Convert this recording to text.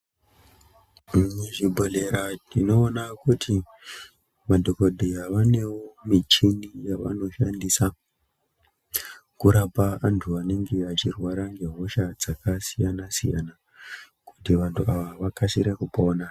Muzvibhedhlera tinoona kuti madhokodheya vanewo michini yavanoshandisa kurapa antu anenge achirwara ngehosha dzakasiyana-siyana kuti vantu ava vakasire kupona.